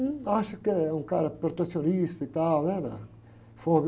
Um acha que é um cara protecionista e tal, né, na.